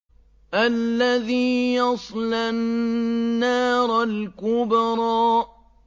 الَّذِي يَصْلَى النَّارَ الْكُبْرَىٰ